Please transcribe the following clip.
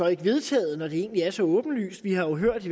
ikke vedtaget når det egentlig er så åbenlyst vi har jo hørt